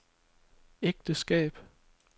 ægteskab